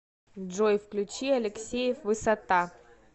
джой включи алексеев высота